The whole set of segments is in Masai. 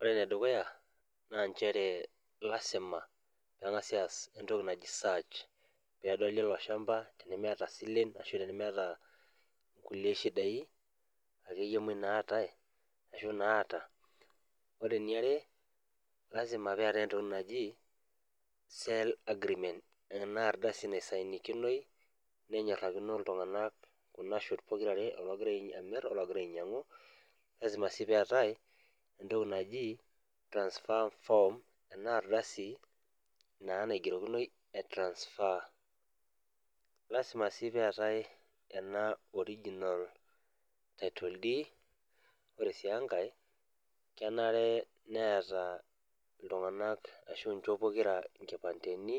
Ore enedukuya na nchere lasima pengasi aas entoki naji search pedoli ilo shamba tenemeata silen ashutenemeeta nkulie shidai akeyie naatae ashu naata ore enkaeeare lasima peetae entoki naji sell agreement enardasi naisiginikinoi nenyorakino ltunganak nchot pokira enaalo nagira amir ologieallra ainyangu transfer form na naigerokinoi transfer neetae ena original title dead ore si enkae kenare neetae ltunganak nkipandeni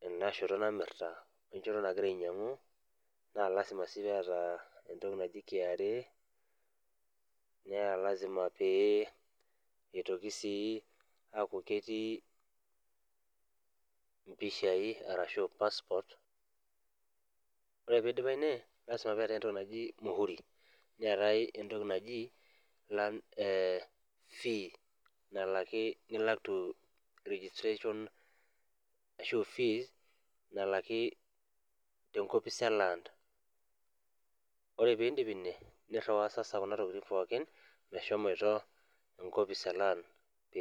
tenashoto namirta we nashoto nagira ainyangu lasima sii peeta entoki naji enkewarie neelasima pee itoki si ketii mpishai arashubmihuri neeta entokibnaji fee ilak registration ashubfee nalaki tenkopis e laands ore pindip niriwaa